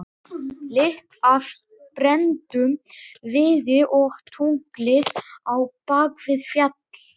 Lykt af brenndum viði og tunglið á bak við fjall.